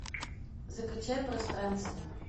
закачай пространство